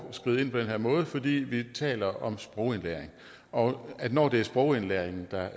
skride ind på den her måde fordi vi taler om sprogindlæring og når det er sprogindlæringen der